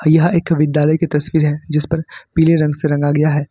यह एक विद्यालय की तस्वीर है जिसपर पीले रंग से रंगा गया है।